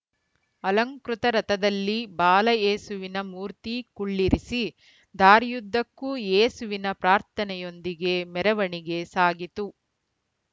ಅಲಂಕೃತ ರಥದಲ್ಲಿ ಬಾಲಯೇಸುವಿನ ಮೂರ್ತಿ ಕುಳ್ಳಿರಿಸಿ ದಾರಿಯುದ್ದಕ್ಕೂ ಯೇಸುವಿನ ಪ್ರಾರ್ಥನೆಯೊಂದಿಗೆ ಮೆರವಣಿಗೆ ಸಾಗಿತು